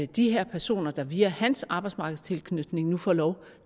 de her personer der via hans arbejdsmarkedstilknytning nu får lov